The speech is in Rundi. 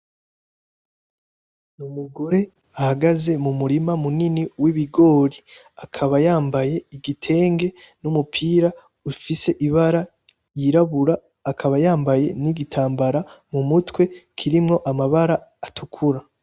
Ni umugore ahagaze mu murima munini wibigori akaba yambaye igitenge n'umupira ufise ibara ryirabura akaba yambaye nigitambara mumutwe kirimo amabara atukura.